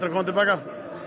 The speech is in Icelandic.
koma til baka